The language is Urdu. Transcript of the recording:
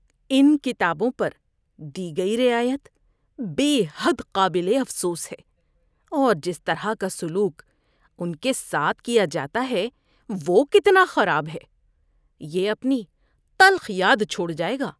ان کتابوں پر دی گئی رعایت بے حد قابل افسوس ہے اور جس طرح کا سلوک ان کے ساتھ کیا جاتا ہے وہ کتنا خراب ہے۔ یہ اپنی تلخ یاد چھوڑ جائے گا۔